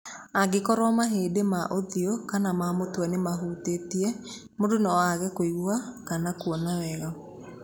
Angĩkorũo mahĩndĩ ma ũthiũ kana ma mũtwe nĩ mahutĩtie, mũndũ no aage kũigua kana kuona wega.